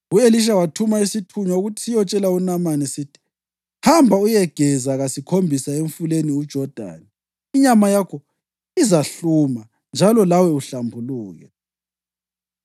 U-Elisha wathuma isithunywa ukuthi siyotshela uNamani sithi: “Hamba, uyegeza kasikhombisa emfuleni uJodani, inyama yakho izahluma njalo lawe uhlambuluke.”